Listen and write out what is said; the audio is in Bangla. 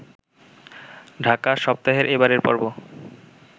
ঢাকা সপ্তাহের এবারের পর্ব